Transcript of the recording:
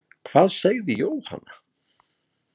Hvað segði Jóhanna?